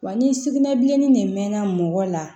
Wa ni sugunɛbilennin de mɛnna mɔgɔ la